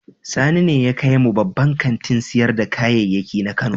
Sani ne ya kai mu babban kantin sayar da kayayyaki na Kano.